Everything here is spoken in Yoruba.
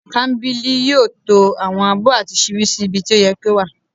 kambili yóò tọ́ àwọn abó àti sibí sí ibí tí o yẹ́ kí o wa